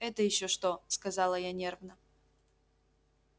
это ещё что сказала я нервно